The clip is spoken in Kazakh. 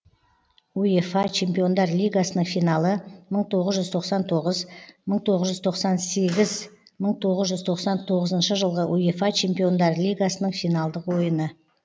уефа чемпиондар лигасының финалы мың тоғыз жүз тоқсан тоғыз мың тоғыз жүз тоқсан сегіз мың тоғыз жүз тоқсан тоғызыншы жылғы уефа чемпиондар лигасының финалдық ойыны